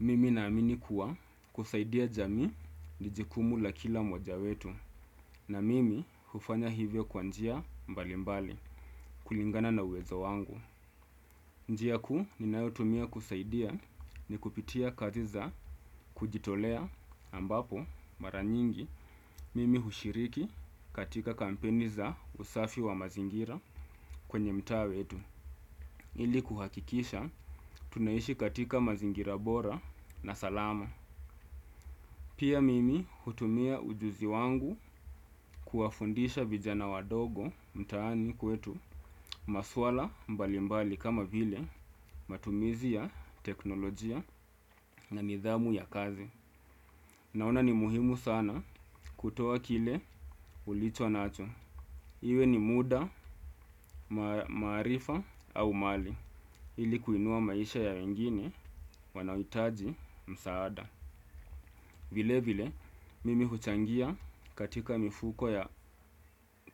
Mimi naamini kuwa kusaidia jamii ni jukumu la kila mmoja wetu na mimi hufanya hivyo kwa njia mbali mbali kulingana na uwezo wangu. Njia kuu ninayotumia kusaidia ni kupitia kazi za kujitolea ambapo mara nyingi mimi hushiriki katika kampeni za usafi wa mazingira kwenye mtaaa wetu. Ili kuhakikisha tunaishi katika mazingira bora na salama. Pia mimi hutumia ujuzi wangu kuwafundisha vijana wadogo mtaani kwetu maswala mbalimbali kama vile matumizi ya teknolojia na nidhamu ya kazi. Naona ni muhimu sana kutoa kile ulicho nacho. Iwe ni muda marifa au mali ili kuinua maisha ya wengine wanaohitaji msaada. Vile vile mimi huchangia katika mifuko ya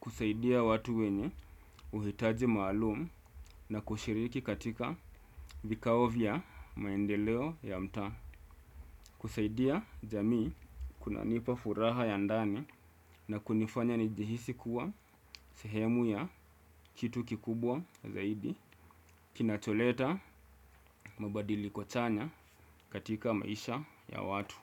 kusaidia watu wenye uhitaji maalum na kushiriki katika vikao vya maendeleo ya mtaa. Kusaidia jamii kuna nipa furaha ya ndani na kunifanya nijihisi kuwa sehemu ya kitu kikubwa zaidi. Kinacholeta mabadiliko chanya katika maisha ya watu.